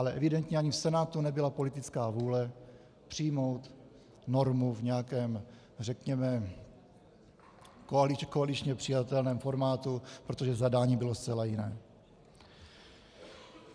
Ale evidentně ani v Senátu nebyla politická vůle přijmout normu v nějakém, řekněme, koaličně přijatelném formátu, protože zadání bylo zcela jiné.